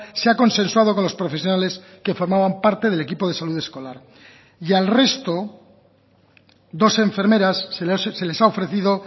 se ha consensuado con los profesionales que formaban parte del equipo de salud escolar y al resto dos enfermeras se les ha ofrecido